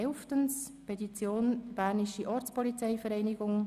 Elftens: Petition der Bernischen Ortspolizeivereinigung (BOV):